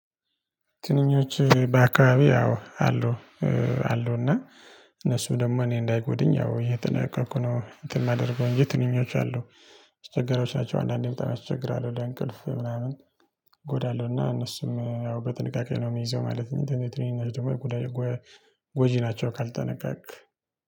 ትንኞች በአካባቢ ያው አሉ አሉና። እነሱም ደግሞ እኔን እንዳይጎዱኝ ያው እየተጠነቀኩ ነው እንትን የማደርገው። ትንኞች አሉ ስቸጋሪዎች ናቸው አንዳንዴ በጣም ያቸግራሉ ወደ እንቅልፍ ምናምን። ጎዳለሁእ ና እነሱም ያው በጥንቃቄ ነው የሚይዘው ማለት ነው። ትንሽ ትንሽ ደግሞ ጎጂ ናቸው ካልተጠነቀቅክ